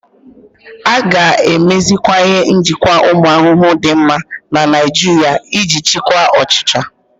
A ga-emeziwanye njikwa ụmụ ahụhụ dị mma na Naijiria iji chịkwaa ọchịcha.